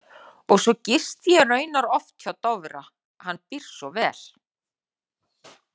Og svo gisti ég raunar oft hjá Dofra, hann býr svo vel.